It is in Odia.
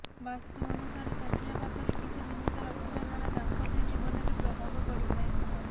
ବାସ୍ତୁ ଅନୁସାରେ ତକିଆ ପାଖରେ କିଛି ଜିନିଷ ରଖିବା ଦ୍ୱାରା ଦାମ୍ପତ୍ୟ ଜୀବନରେ ପ୍ରଭାବ ପଡିଥାଏ